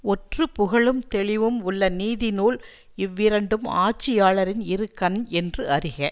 ஒற்று புகழும் தெளிவும் உள்ள நீதிநூல் இவ்விரண்டும் ஆட்சியாளரின் இரு கண் என்று அறிக